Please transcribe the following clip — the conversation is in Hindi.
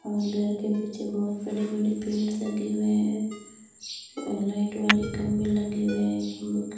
और घर के पीछे बहोत बड़े बड़े पेड़ लगे हुए हैं लाइट वाले खंबे लगे हुए हैं खम्बो के --